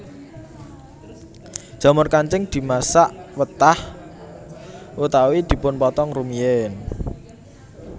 Jamur kancing dimasak wetah utawi dipunpotong rumiyim